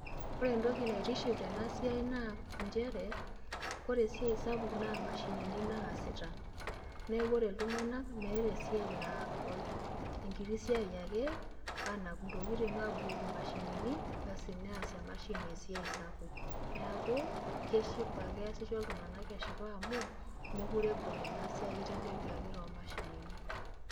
Ore entoki naitiship tenaa siai naa njere ore esiai sapuk naa imashinini naasita. Neeku ore iltunganak meeta esiai naagol, entiti siai ake aanap entokitin abukoki imashinini, asi neas emashini esiai sapuk. Neeku kesipa keasisho iltunganak eship amu meekure egol ena siai eitelekiaki too mashinini.